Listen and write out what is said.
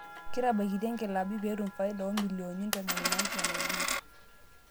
Ketabaikita inkilaabi peetum faida oo milionnini 75